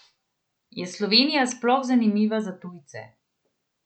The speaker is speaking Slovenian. Je Slovenija sploh zanimiva za tujce?